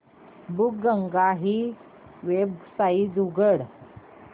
बुकगंगा ही वेबसाइट उघड